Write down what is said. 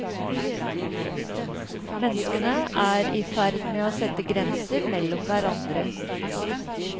Menneskene er i ferd med å sette grenser mellom hverandre.